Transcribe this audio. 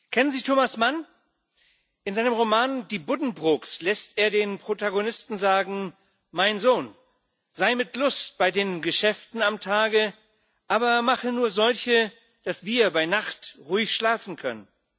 Kennen Sie Thomas Mann? In seinem Roman Die Buddenbrooks lässt er den Protagonisten sagen Mein Sohn, sei mit Lust bei den Geschäften am Tage, aber mache nur solche, dass wir bei Nacht ruhig schlafen können.